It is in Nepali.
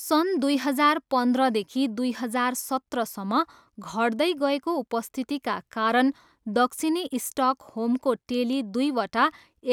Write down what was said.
सन् दुई हजार पन्ध्रदेखि दुई हजार सत्रसम्म घट्दै गएको उपस्थितिका कारण दक्षिणी स्टकहोमको टेली दुईवटा